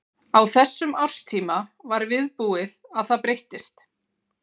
Á þessum árstíma var viðbúið að það breyttist.